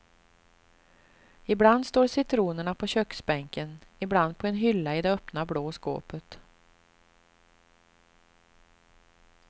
Ibland står citronerna på köksbänken, ibland på en hylla i det öppna blå skåpet.